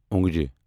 اونگجہِ